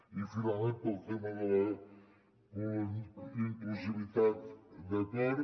i finalment pel tema de la inclusivitat d’acord